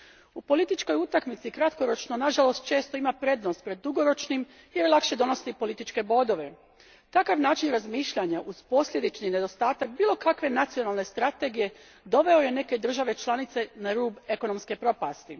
U političkoj utakmici kratkoročno nažalost često ima prednost pred dugoročnim jer lakše donosi političke bodove. Takav način razmišljanja uz posljedični nedostatak bilo kakve nacionalne strategije doveo je neke države članice na rub ekonomske propasti.